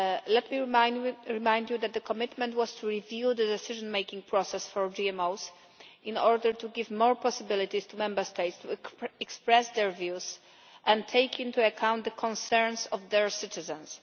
Let me remind you that the commitment was to review the decision making process for GMOs in order to give more possibilities to Member States to express their views and take into account the concerns of their citizens.